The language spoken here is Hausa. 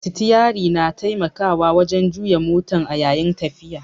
Sitiyari na taimakawa wajan juya motan a yayin tafiya